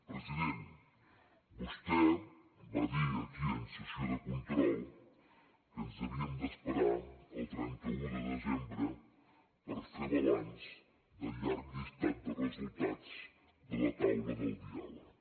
president vostè va dir aquí en sessió de control que ens havíem d’esperar al trenta un de desembre per fer balanç del llarg llistat de resultats de la taula de diàleg